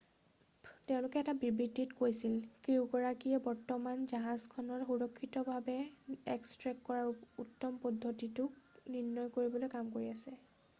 "তেওঁলোকেও এটা বিবৃতিত কৈছিল "ক্ৰিউগৰাকীয়ে বৰ্তমান জাহাজখনক সুৰক্ষিতভাৱে এক্সট্ৰেক্ট কৰাৰ উত্তম পদ্ধতিটোক নিৰ্ণয় কৰিবলৈ কাম কৰি আছে৷""